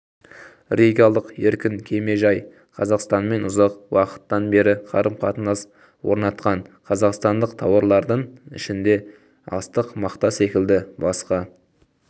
ригалық еркін кемежай қазақстанмен ұзақ уақыттан бері қарым-қатынас орнатқан қазақстандық тауарлардың ішінде астық мақта секілді басқа